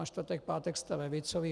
A čtvrtek, pátek jste levicoví.